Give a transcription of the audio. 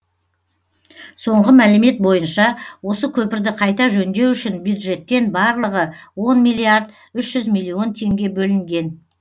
соңғы мәлімет бойынша осы көпірді қайта жөндеу үшін бюджеттен барлығы он миллиард үш жүз миллион теңге бөлінген